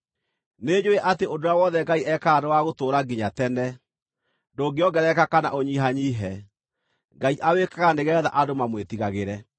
Nĩnjũũĩ atĩ ũndũ ũrĩa wothe Ngai ekaga nĩ wagũtũũra nginya tene; ndũngĩongerereka kana ũnyihanyiihe. Ngai awĩkaga nĩgeetha andũ mamwĩtigagĩre.